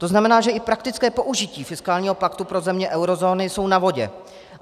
To znamená, že i praktická použití fiskálního paktu pro země eurozóny jsou na vodě.